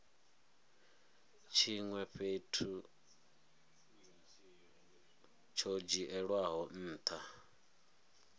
tshinwe hafhu tsho dzhielwaho ntha